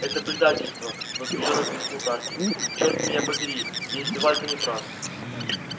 это предательство возбуждённо пискнул тарки черт меня побери если вальто не прав